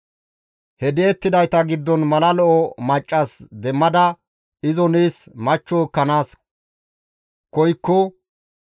he di7ettidayta giddon mala lo7o maccas demmada izo nees machcho ekkanaas koykko,